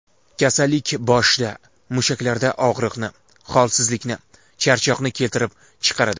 Kasallik boshda, mushaklarda og‘riqni, holsizlikni, charchoqni keltirib chiqaradi.